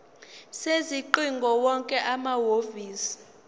sezingcingo wonke amahhovisi